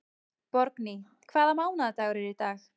Borgný, hvaða mánaðardagur er í dag?